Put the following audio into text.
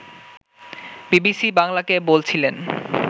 BBC বাংলাকে বলছিলেন